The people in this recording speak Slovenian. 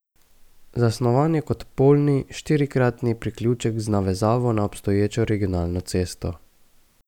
Zasnovan je kot polni štirikraki priključek z navezavo na obstoječo regionalno cesto.